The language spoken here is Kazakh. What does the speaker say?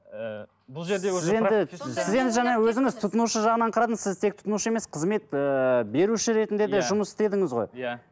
ыыы бұл жерде уже сіз енді сіз енді жаңа өзіңіз тұтынушы жағынан қарадыңыз сіз тек тұтынушы емес қызмет ыыы беруші ретінде де жұмыс істедіңіз ғой иә